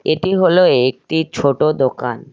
এটি হল একটি ছোট দোকান।